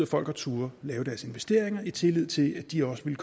folk har turdet lave deres investeringer i tillid til at de også ville